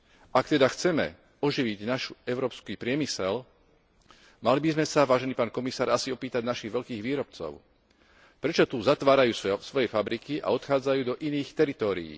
Ak teda chceme oživiť náš európsky priemysel, mali by sme sa, vážený pán komisár, asi opýtať našich veľkých výrobcov, prečo tu zatvárajú svoje fabriky a odchádzajú do iných teritórií.